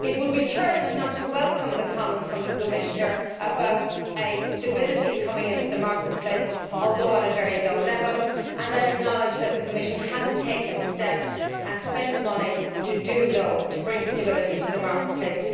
It would be churlish not to welcome the comments from the Commissioner about a stability coming into the market place, although at a very low level, and I acknowledge that the Commission has taken steps and spent money to bring stability to the market place.